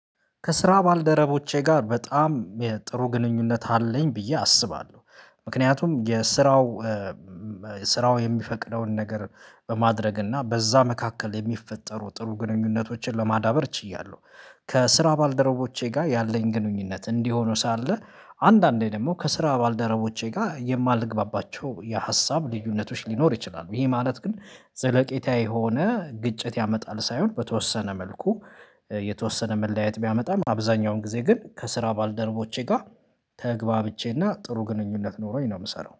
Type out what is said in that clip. ከስራ ባልደረቦቼ ጋር በጣም ጥሩ ግንኙነት አለኝ ብዬ አስባለሁ ምክንያቱም የስራው ስራው የሚፈቅደውን ነገር በማድረግ እና በዛ መካከል የሚፈጠሩ ጥሩ ግንኙነቶችን ለማዳበር ችያለሁ። ከስራ ባልደረቦቼ ጋር ያለኝ ግንኙነት እንዲህ ሆኖ ሳለ አንዳንዴ ደግሞ ከስራ ባልደረቦቼ ጋር የማልግባባቸው የሀሳብ ልዩነቶች ሊኖር ይችላሉ። ይሄ ማለት ግን ዘለቄታዊ የሆነ ግጭት ያመጣል ሳይሆን በተወሰነ መልኩ የተወሰነ መለያየት ቢያመጣም አብዛኛውን ጊዜ ግን ከስራ ባልደረቦቼ ጋር ተግባብቼ እና ጥሩ ግንኙነት ኖሮኝ ነው የምሰራው